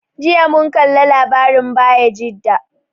Jiya mun kalla labarin Bayajida.